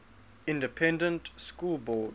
independent school board